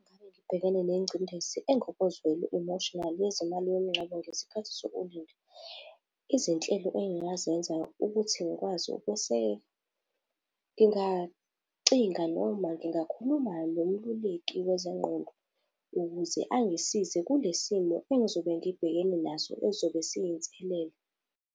Ngabe ngibhekene nengcindezi engokozwelo, emotionally, yezemali yomngcwabo ngesikhathi sokulinda. Izinhlelo engingazenza ukuthi ngikwazi ukweseka, ngingacinga noma ngingakhuluma nomeluleki wezengqondo ukuze angisize kule simo engizobe ngibhekene naso ezobe siyinselela.